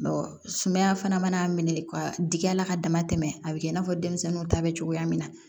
sumaya fana mana minɛ ka dig'a la ka damatɛmɛ a bɛ kɛ i n'a fɔ denmisɛnninw ta bɛ cogoya min na